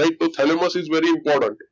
right તો thalamus is very important